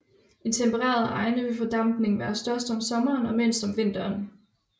I tempererede egne vil fordampningen være størst om sommeren og mindst om vinteren